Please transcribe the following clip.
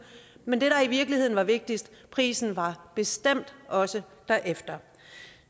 men det der i virkeligheden var vigtigst prisen var bestemt også derefter